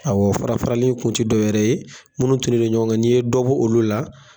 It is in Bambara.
Awɔ farafarali kun te dɔ wɛrɛ ye munnu tunnen do ɲɔgɔn ka n'i ye dɔ bo olu la